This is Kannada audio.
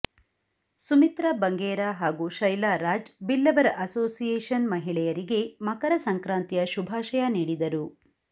ಸುಮಿತ್ರಾ ಬಂಗೇರ ಹಾಗೂ ಶೈಲಾ ರಾಜ್ ಬಿಲ್ಲವರ ಅಸೋಸಿಯೇಶನ್ಮಹಿಳೆಯರಿಗೆ ಮಕರ ಸಂಕ್ರಾತಿಯ ಶುಭಾಶಯ ನೀಡಿದರು